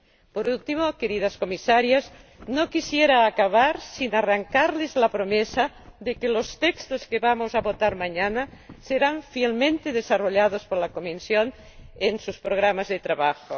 Por último, queridas Comisarias, no quisiera acabar sin arrancarles la promesa de que los textos que vamos a votar mañana serán fielmente desarrollados por la Comisión en sus programas de trabajo.